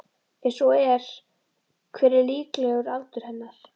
Ef svo er hver er líklegur aldur hennar?